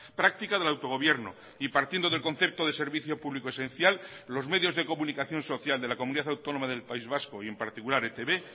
práctica del autogobierno y partiendo del concepto de servicio público esencial los medios de comunicación social de la comunidad autónoma del país vasco y en particular etb